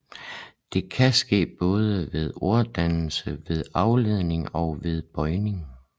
Det kan ske både ved orddannelse med afledning og ved bøjning